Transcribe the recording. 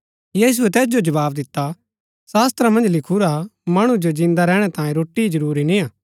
यीशुऐ तैस जो जवाव दिता शास्‍त्रा मन्ज लिखुरा मणु जो जिन्दा रैहणै तांई रोटी ही जरूरी नियां